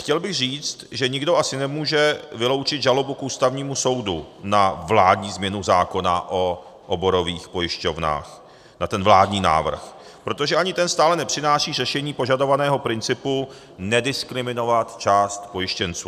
Chtěl bych říct, že nikdo asi nemůže vyloučit žalobu k Ústavnímu soudu na vládní změnu zákona o oborových pojišťovnách, na ten vládní návrh, protože ani ten stále nepřináší řešení požadovaného principu nediskriminovat část pojištěnců.